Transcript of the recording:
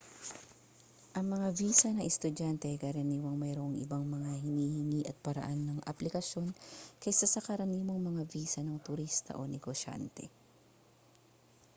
ang mga visa ng estudyante ay karaniwang mayroong ibang mga hinihingi at paraan ng aplikasyon kaysa sa karaniwang mga visa ng turista o negosyante